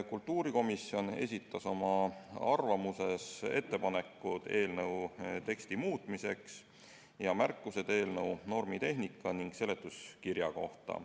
Kultuurikomisjon esitas koos oma arvamusega ka ettepanekud eelnõu teksti muutmiseks ning märkused eelnõu normitehnika ja seletuskirja kohta.